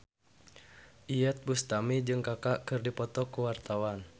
Iyeth Bustami jeung Kaka keur dipoto ku wartawan